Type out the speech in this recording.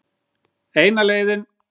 Eina leiðin.